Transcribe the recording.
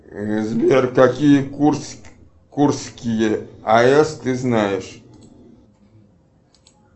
сбер какие курские аэс ты знаешь